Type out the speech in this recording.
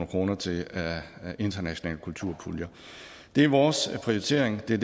kroner til internationale kulturpuljer det er vores prioritering det er